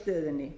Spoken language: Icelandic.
á stöðunni